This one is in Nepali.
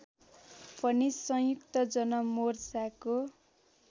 पनि संयुक्त जनमोर्चाको